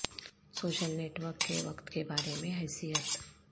social network کے وقت کے بارے میں حیثیت